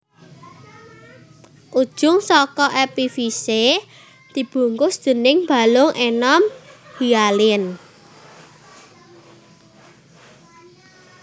Ujung saka epifise dibungkus déning balung enom hialin